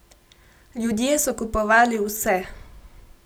Ljudje so kupovali vse!